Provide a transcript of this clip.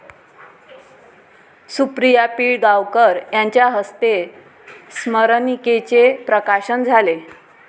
सुप्रिया पिळगांवकर यांच्या हस्ते स्मरणिकेचे प्रकाशन झाले.